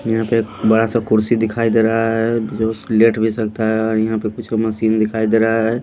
यहां पे बड़ा सा कुर्सी दिखाई दे रहा है जो उस लेट भी सकता है और यहां पे कुछ मशीन दिखाई दे रहा है।